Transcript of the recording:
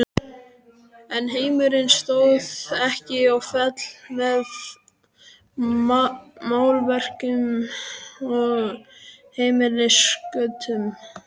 En heimurinn stóð ekki og féll með málverkum og heimilisköttum.